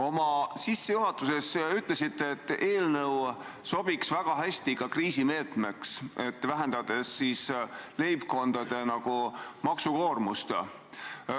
Oma sissejuhatuses ütlesite, et eelnõu sobiks väga hästi ka kriisimeetmeks, et vähendada leibkondade maksukoormust.